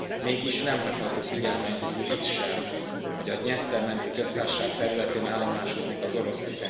Mégis, nem hagyható figyelmen kívül itt sem, hogy a Dnyeszter menti Köztársaság területén állomásozik az orosz